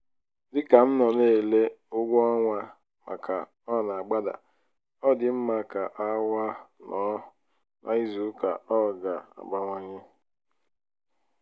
dị ka m nọ na-ele ụgwọ ọnwa màkà o nagbada ọ dị m ka awa nọ n'izuuka ọ ga-abawanye.